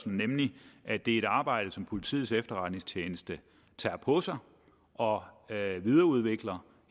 nemlig at det er et arbejde som politiets efterretningstjeneste tager på sig og videreudvikler